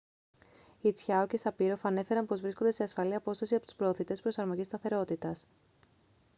οι τσιάο και σαπίροφ ανέφεραν πως βρίσκονταν σε ασφαλή απόσταση από τους προωθητές προσαρμογής σταθερότητας